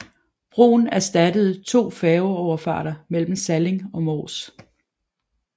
Broen erstattede to færgeoverfarter mellem Salling og Mors